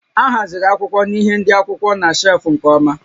A haziri akwụkwọ na ihé ndị akwụkwọ na shelfụ́ nke ọma